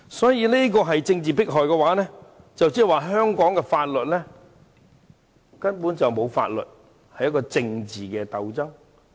所以，若這也是政治迫害，那麼香港根本沒有法律可言，只有政治鬥爭。